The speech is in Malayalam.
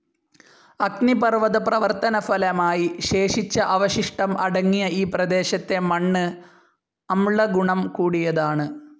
അഗ്നിപർവ്വത പ്രവർത്തനഫലമായി ശേഷിച്ച അവശിഷ്ടം അടങ്ങിയ ഈ പ്രദേശത്തെ മണ്ണ് അമ്ള ഗുണം കൂടിയതാണ്.